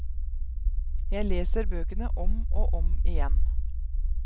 Jeg leser bøkene om og om igjen.